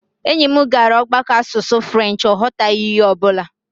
Enyi m gara ọgbakọ asụsụ french, ọ ghọtaghị ihe ọ bụla